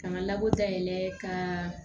K'an ka labɔ dayɛlɛ ka